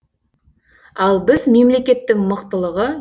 ал біз мемлекеттің мықтылығы